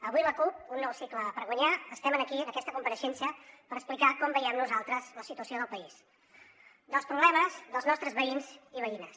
avui la cup un nou cicle per guanyar estem aquí en aquesta compareixença per explicar com veiem nosaltres la situació del país els problemes dels nostres veïns i veïnes